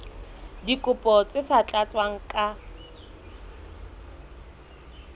dikopo tse sa tlatswang ka